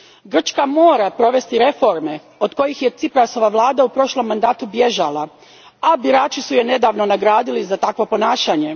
Grčka mora provesti reforme od kojih je Ciprasova vlada u prošlom mandatu bježala, a birači su je nedavno nagradili za takvo ponašanje.